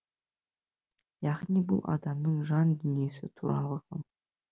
яғни бұл адамның жан дүниесі туралы ғылым